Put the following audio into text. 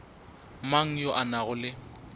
mang yo a nago le